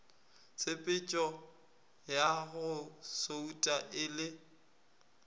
tshepetšoya go souta e le